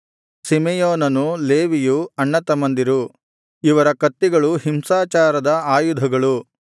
ಸಿಮೆಯೋನನು ಲೇವಿಯೂ ಅಣ್ಣತಮ್ಮಂದಿರು ಇವರ ಕತ್ತಿಗಳು ಹಿಂಸಾಚಾರದ ಆಯುಧಗಳು